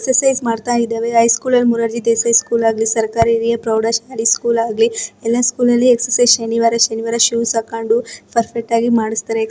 exercise ಮಾಡ್ತಾ ಇದ್ದವೇ high ಸ್ಕೂಲಾಗ್ಲಿ ಮೊರಾರ್ಜಿ ದೇಸಾಯಿ ಸ್ಕೂಲ್ ಆಗ್ಲಿ ಸರ್ಕಾರಿ ಹಿರಿಯ ಪ್ರೌಢ ಶಾಲೆ ಸ್ಕೂಲ್ ಆಗ್ಲಿ ಎಲ್ಲ ಸ್ಕೂಲ್ ಲ್ಲಿ ಎಕ್ಸರ್ಸೈಜ್ ಶನಿವಾರ ಶನಿವಾರ ಶೂಸ್ ಹಾಕ್ಕೊಂಡು ಪರ್ಫೆಕ್ಟ್ ಆಗಿ ಮಾಡಿಸ್ತಾರೆ--